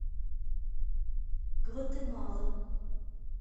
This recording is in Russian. гватемала